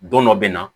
Don dɔ bɛ na